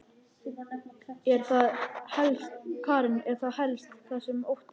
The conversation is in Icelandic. Karen: Er það helst það sem þú óttast?